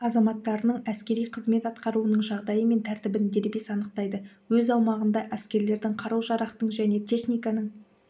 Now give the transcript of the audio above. азаматтарының әскери қызмет атқаруының жағдайы мен тәртібін дербес анықтайды өз аумағында әскерлердің қару-жарақтың және техниканың